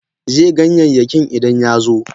Ze ganyayyakin Idan ya zo.